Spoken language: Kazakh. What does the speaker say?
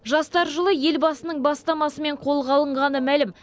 жастар жылы елбасының бастамасымен қолға алынғаны мәлім